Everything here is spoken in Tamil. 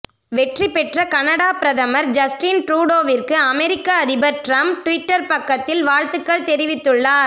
வெற்றிப்பெற்ற கனடா பிரதமர் ஜஸ்டின் ட்ரூடோவிற்கு அமெரிக்க அதிபர் டிரம்ப் டிவிட்டர் பக்கத்தில் வாழ்த்துக்கள் தெரிவித்துள்ளார்